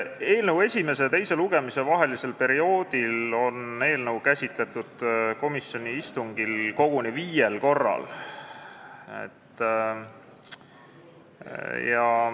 Eelnõu esimese ja teise lugemise vahel käsitleti eelnõu komisjoni istungil koguni viiel korral.